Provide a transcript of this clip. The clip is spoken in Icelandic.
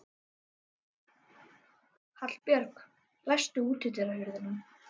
Hallbjörg, læstu útidyrunum.